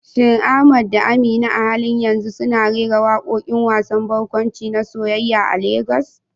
Shin Ahmad da Amina a halin yanzu suna rera waƙoƙin wasan barkwanci na soyayya a Legas?